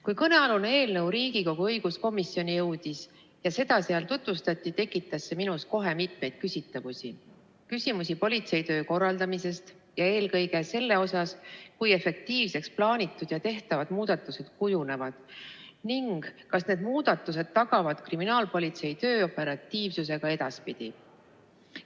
Kui kõnealune eelnõu Riigikogu õiguskomisjoni jõudis ja seda seal tutvustati, tekitas see minus kohe mitmeid küsimusi politseitöö korraldamise kohta ja eelkõige selle kohta, kui efektiivseks plaanitud ja tehtavad muudatused kujunevad ning kas need muudatused tagavad kriminaalpolitsei töö operatiivsuse ka edaspidi.